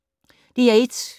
DR1